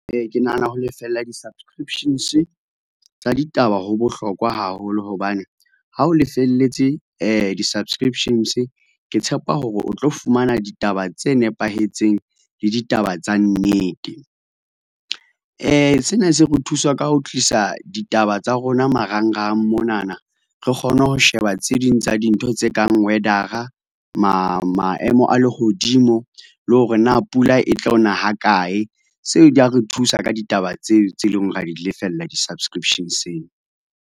Ke nahana ho lefella di-subscriptions tsa ditaba ho bohlokwa haholo hobane ha o lefeletse, di-subscriptions ke tshepa hore o tlo fumana ditaba tse nepahetseng le ditaba tsa nnete. Sena se re thusa ka ho tlisa ditaba tsa rona marangrang monana re kgona ho sheba tse ding tsa dintho tse kang weather-a, maemo a lehodimo le hore na pula e tlo na ha kae. Seo di a re thusa ka ditaba tseo tse leng hore ra di lefella di-subscription-seng.